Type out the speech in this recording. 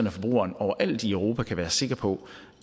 at forbrugerne overalt i europa kan være sikre på